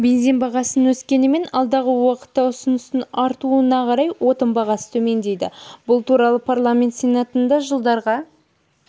бензин бағасының өскенімен алдағы уақытта ұсыныстың артуына қарай отын бағасы төмендейді бұл туралы парламент сенатында жылдарға